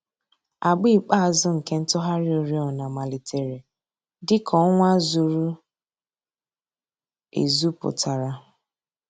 Àgbà ikpeazụ̀ nke ntùghàrị̀ òrìọ̀nà màlítèrè dị̀ka ọnwà zùrù èzù pụtara.